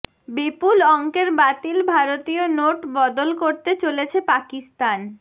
বিপুল অঙ্কের বাতিল ভারতীয় নোট বদল করতে চলেছে পাকিস্তান